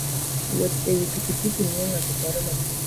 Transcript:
Wuoth e wi pikipiki miyo ng'ato paro matut.